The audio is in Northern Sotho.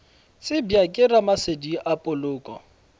tsebja ke ramasedi a poloko